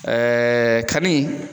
Ɛɛ kani